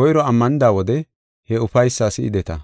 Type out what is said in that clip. koyro ammanida wode he ufaysaa si7ideta.